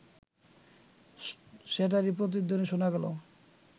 সেটারই প্রতিধ্বনি শোনা গেল